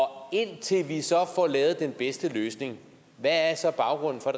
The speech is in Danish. indtil vi så får lavet den bedste løsning hvad er så baggrunden for